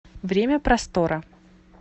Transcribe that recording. время простора